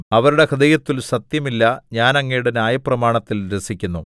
അവരുടെ ഹൃദയത്തില്‍ സത്യം ഇല്ല ഞാൻ അങ്ങയുടെ ന്യായപ്രമാണത്തിൽ രസിക്കുന്നു